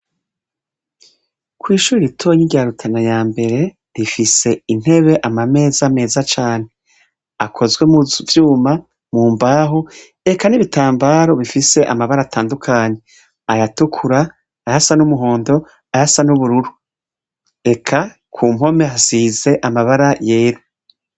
Kwishuri ritoya rya rutana yambere rifise intebe ama meza meza cane akozwe muvyuma mumbaho eka n'ibitamabaro bifise amabara atandukanye aya tukura ayasa n'umuhondo ayasa n'ubururu eka kumpome hasize amabara yera.